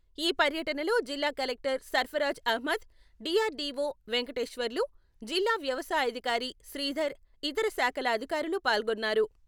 ఈ పర్యటనలో జిల్లా collector Sarfaraz Ahmed, D R D O Venkateswarlu, జిల్లా వ్యవసాయ అధికారి శ్రీధర్ ఇతర శాఖల అధికారులు పాల్గోన్నారు.